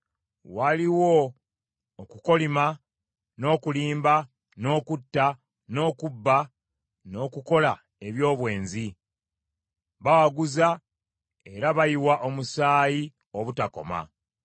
Waliwo okukolima, n’okulimba, n’okutta, n’okubba, n’okukola eby’obwenzi; bawaguza, era bayiwa omusaayi obutakoma.